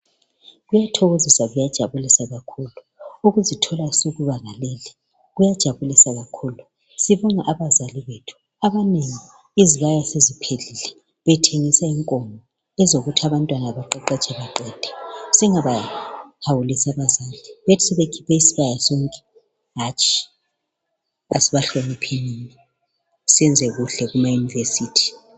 Kuyathokozisa, kuyajabulisa kakhulu ukuzithola usukubanga leli kuyajabulisa kakhulu sibona abazali bethu abanengi izibaya seziphelile bethengisa inkomo ezokuthi abantwana baqeqetshe baqede singabaya hawulisi abazali bethu bethi sebekhuphe isibaya sonke hatshi asibahlonipheni senze kuhle kumaUniversity.